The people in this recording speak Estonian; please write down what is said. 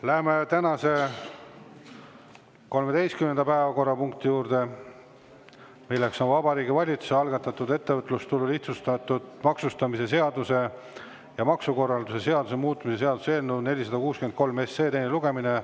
Läheme tänase 13. päevakorrapunkti juurde, mis on Vabariigi Valitsuse algatatud ettevõtlustulu lihtsustatud maksustamise seaduse ja maksukorralduse seaduse muutmise seaduse eelnõu 463 teine lugemine.